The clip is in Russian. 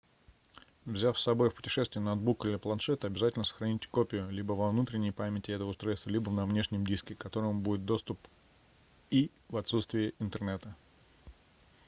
взяв собой в путешествие ноутбук или планшет обязательно сохраните копию либо во внутренней памяти этого устройства либо на внешнем диске к которому будет доступ и в отсутствие интернета